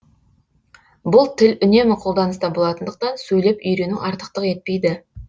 бұл тіл үнемі қолданыста болатындықтан сөйлеп үйрену артықтық етпейді